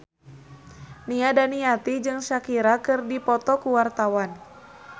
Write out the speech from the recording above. Nia Daniati jeung Shakira keur dipoto ku wartawan